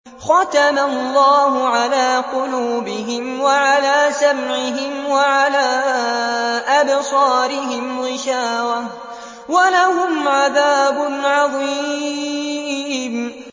خَتَمَ اللَّهُ عَلَىٰ قُلُوبِهِمْ وَعَلَىٰ سَمْعِهِمْ ۖ وَعَلَىٰ أَبْصَارِهِمْ غِشَاوَةٌ ۖ وَلَهُمْ عَذَابٌ عَظِيمٌ